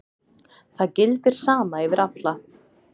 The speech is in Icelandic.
Það gildir sama yfir alla.